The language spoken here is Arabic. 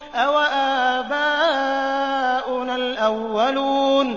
أَوَآبَاؤُنَا الْأَوَّلُونَ